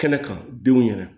Kɛnɛ kan denw ɲɛna